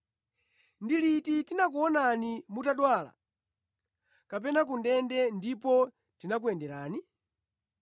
Ndi liti tinakuonani mutadwala kapena ku ndende ndipo tinakuyenderani?’